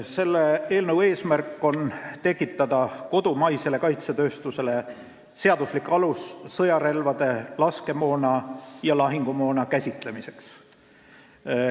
Selle eelnõu eesmärk on tekitada kodumaisele kaitsetööstusele seaduslik alus sõjarelvade, laskemoona ja lahingumoona käitlemiseks.